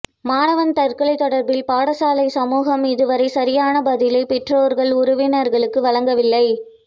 மாணவன் தற்கொலை தொடர்பில் பாடசாலை சமூகம் இதுவரை சரியான பதிலை பெற்றோர்கள் உறவினர்களுக்கு வழங்கவில்லை